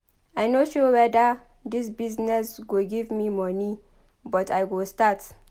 I no sure weda dis business go give me moni but I go start.